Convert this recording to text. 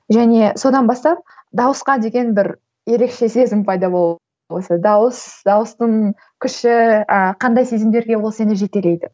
және содан бастап дауысқа деген бір ерекше сезім пайда болып осылай дауыс дауыстың күші ііі қандай сезімдерге ол сені жетелейді